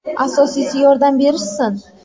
Asosiysi, yordam berishsin”.